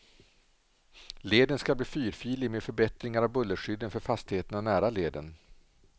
Leden skall bli fyrfilig med förbättringar av bullerskydden för fastigheterna nära leden.